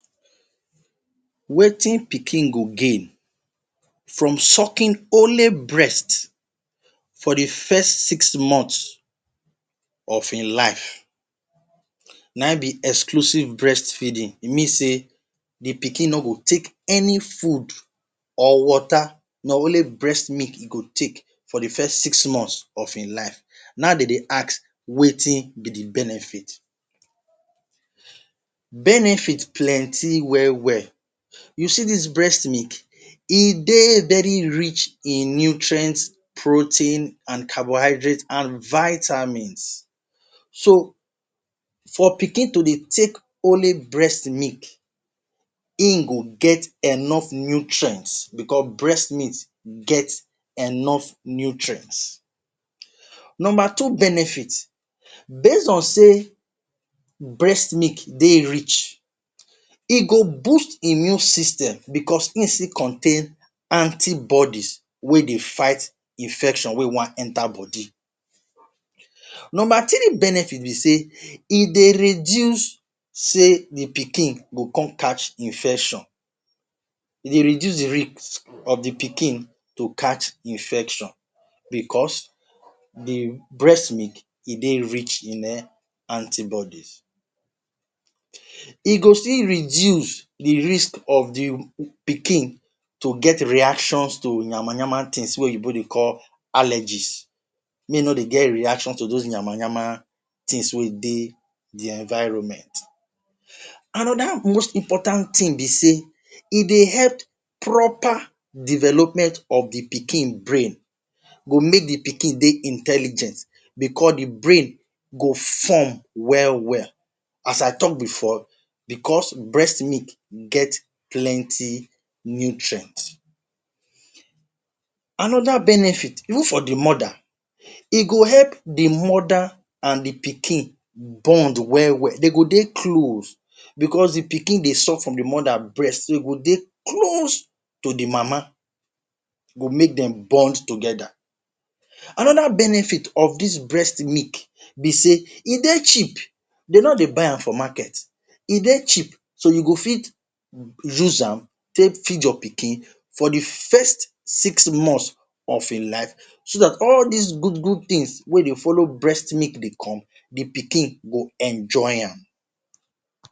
Wetin pikin go gain from sucking only breast for di first six months of im life, na im be exclusive breast feeding mean say di pikin no go take any food or water na only breast milk im go take for di first six months of im life na im den dey ask wetin be di benefit. Benefit plenty wel wel. You see dis breast milk? E dey very rich in nutrients, protein and carbohydrates and vitamins so, for pikin to dey take only breast milk im go get enough nutrients bicos breast milk get enough nutrients. Number two benefits, based on say breast milk dey rich, e go boost immune system bicos e still contain antibodies wey dey fight infection wey wan enta body. Number three benefit be say, e dey reduce say di pikin go come catch infection e dey reduce rate of di pikin go catch infection bicos di breast milk dey rich in antibodies. E go fit reduce di risk of di pikin to get reactions to yamayama tins wey oyinbo dey call allergies make e no dey get reactions to dos yamayama tins wen dey im environment. Anoda most important tin be say e dey help proper development of di pikin brain go make di pikin dey intelligent bicos di brain go form wel wel. As I tok bifor bicos breast milk get plenty nutrients. Anoda benefits even for di mother, e go help di mother and di pikin bond wel wel dem go dey close bicos di pikin dey suck from di mother breast so im go dey close to di mama e go make dem bond togeda. Anoda benefit of dis breast milk be say e dey cheap dem no dey buy am for market e dey cheap, so you go fit use am take feed your pikin for di first six months of im life so dat all dis good good tins wey dey follow breast milk dey come di pikin go enjoy am.